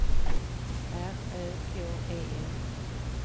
R Ö K E N